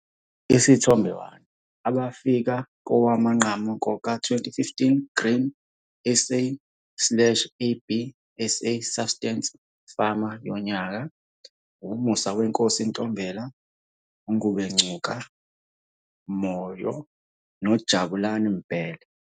Isithombe 1- Abafika kowamanqamu koka-2015 Grain SA - ABSA Subsistence Farmer yonyaka - U-Musawenkosi Ntombela, u-Ngubengcuka Moyo noJabulani Mbele.